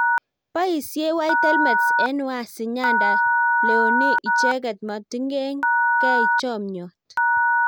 Boisiei white helmets eng waasi nyanda leonee icheket matingen kei chomyot